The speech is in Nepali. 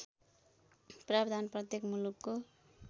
प्रावधान प्रत्येक मुलुकको